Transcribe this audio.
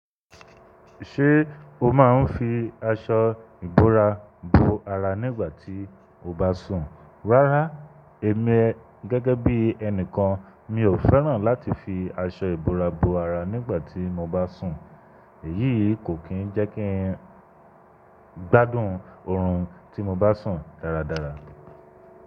Ṣé o máa ń fi aṣọ ìbora bo ara nígbà tí o bá sùn? Rárá, èmi gẹ́gẹ́ bí ẹni kan mi ò fẹ́ràn láti fi aṣọ ìbora bo ara nígbà tí mo bá sùn. Èyíi kò kí ń jẹ́ kí n gbádùn ọ̀rùn tí mo bá sùn dáradára.